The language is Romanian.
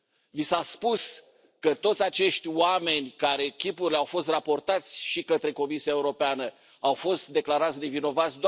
Vi s a spus că toți acești oameni care, chipurile, au fost raportați și către Comisia Europeană, au fost declarați nevinovați?